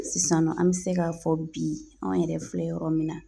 Sisan nɔ an bɛ se k'a fɔ bi anw yɛrɛ filɛ yɔrɔ min na